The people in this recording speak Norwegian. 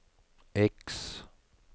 X